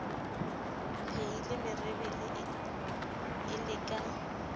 mpehile merebele e le ka